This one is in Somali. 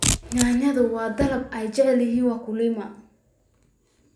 Yaanyada waa dalag ay jecel yihiin wakulima.